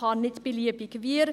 Man kann nicht beliebig ...